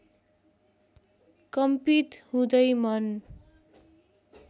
कम्पित हुँदै मन